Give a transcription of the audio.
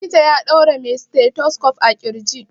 Likita ya ɗaura mai stethoscope a ƙirji.